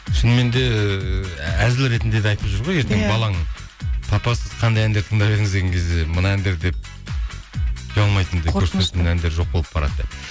шыныменде әзіл ретінде де айтып жүр ғой ертең балаң папа сіз қандай әндер тыңдап едіңіз деген кезде мына әндер деп ұялмайтындай жоқ болып барады деп